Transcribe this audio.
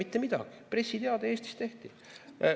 Mitte midagi, pressiteade Eestis tehti.